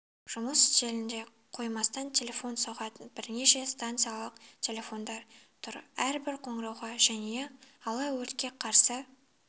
жұмыс үстелінде қоймастан телефон соғатын бірнеше стационарлық телефондар тұр әрбір қоңырауға жәния алло өртке қарсы